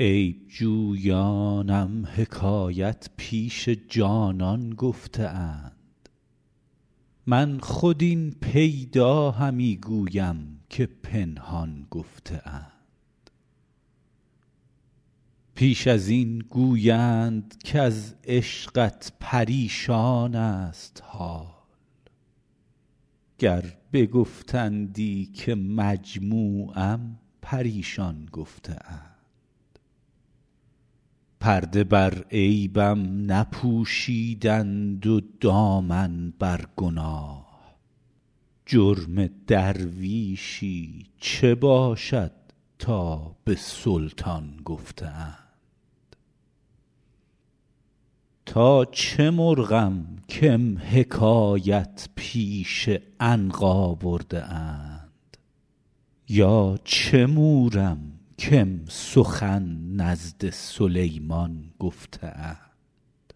عیب جویانم حکایت پیش جانان گفته اند من خود این پیدا همی گویم که پنهان گفته اند پیش از این گویند کز عشقت پریشان ست حال گر بگفتندی که مجموعم پریشان گفته اند پرده بر عیبم نپوشیدند و دامن بر گناه جرم درویشی چه باشد تا به سلطان گفته اند تا چه مرغم کم حکایت پیش عنقا کرده اند یا چه مورم کم سخن نزد سلیمان گفته اند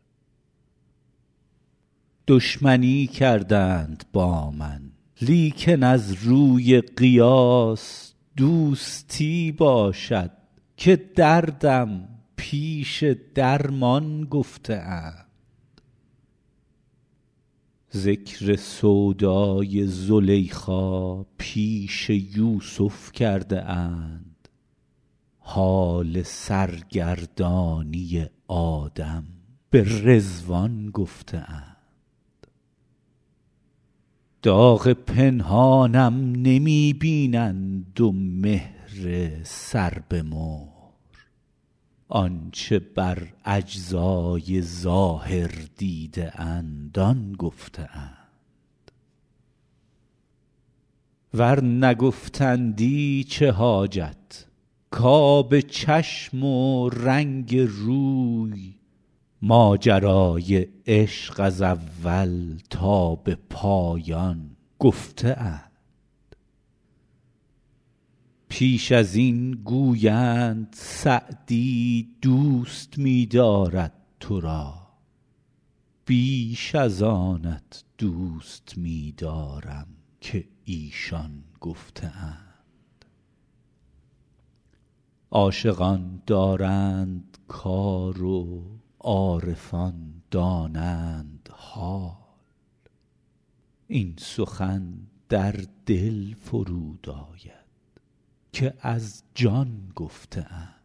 دشمنی کردند با من لیکن از روی قیاس دوستی باشد که دردم پیش درمان گفته اند ذکر سودای زلیخا پیش یوسف کرده اند حال سرگردانی آدم به رضوان گفته اند داغ پنهانم نمی بینند و مهر سر به مهر آن چه بر اجزای ظاهر دیده اند آن گفته اند ور نگفتندی چه حاجت کآب چشم و رنگ روی ماجرای عشق از اول تا به پایان گفته اند پیش از این گویند سعدی دوست می دارد تو را بیش از آنت دوست می دارم که ایشان گفته اند عاشقان دارند کار و عارفان دانند حال این سخن در دل فرود آید که از جان گفته اند